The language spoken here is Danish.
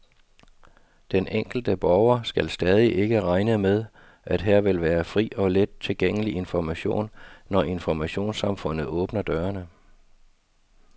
Den enkelte borger skal stadig ikke regne med, at her vil være fri og let tilgængelig information, når informationssamfundet åbner dørene.